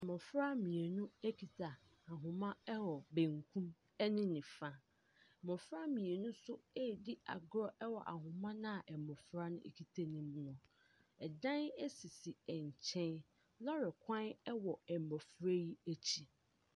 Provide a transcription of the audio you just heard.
Mmɔfra mmienu kita ahoma wɔ bankum ne nifa, mmɔfra mmienu nso ɛredi agorɔ wɔ ahoma no a mmɔfra no kita ne mu. Dan sisi nkyɛn, lɔɔre kwan wɔ mmɔfra yi akyi.